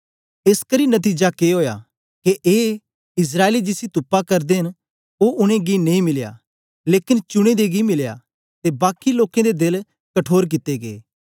एसकरी नतीजा के ओया ए के इस्राएली जिसी तुपा करदे न ओ उनेंगी नेई मिलया लेकन चुने दें गी मिलया ते बाकी लोकें दे देल कठोर कित्ते गै